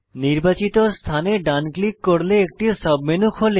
নির্বাচিত স্থানে ডান ক্লিক করলে একটি সাবমেনু খোলে